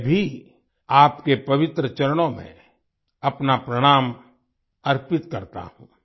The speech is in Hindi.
मैं भी आपके पवित्र चरणों में अपना प्रणाम अर्पित करता हूं